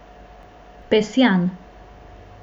Pesjan.